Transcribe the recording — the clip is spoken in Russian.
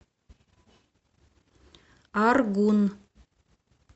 аргун